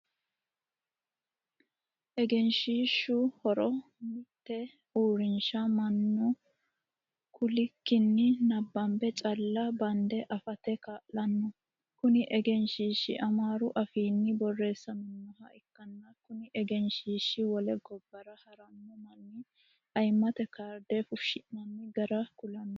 Egenshiishu horo mite uurinsha Manu kulikinni nabambe calla bande afate kaa'lano. Kunni egenshiishi amaaru afiinni boreessaminoha ikanna kunni egenshiishi wole gobara harano manni ayimate kaarde fushi'nanni gara kulano.